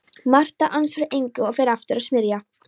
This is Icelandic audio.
Marta ansar engu og fer aftur að smyrja.